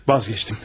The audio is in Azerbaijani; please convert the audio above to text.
Vazkeçdim.